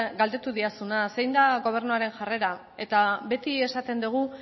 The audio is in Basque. galdetu didazuna zein da gobernuaren jarrera eta beti esaten dugu